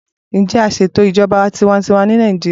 Ǹjẹ àń ṣe ètò ìjọba tiwańtiwa ní Nàìjíría?